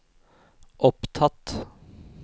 opptatt